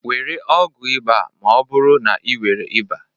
Were ọgwụ ịba ma ọ bụrụ na ị nwere ịba.